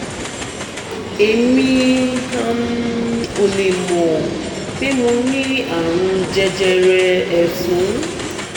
èmi um ò lè mọ̀ pé mo ní àrùn jẹjẹrẹ ẹ̀fun